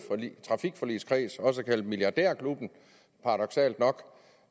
trafikforligskreds også kaldet milliardærklubben paradoksalt nok